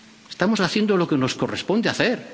Estamos haciendo lo que nos corresponde hacer.